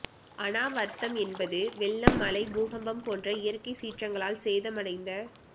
அநாவர்த்தம் என்பது வெள்ளம் மழை பூகம்பம் போன்ற இயற்கைச் சீற்றங்களால் சேதமடைந்த